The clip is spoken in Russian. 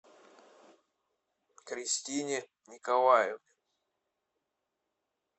кристине николаевне